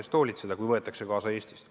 Seda sel juhul, kui ta võetakse Eestist kaasa.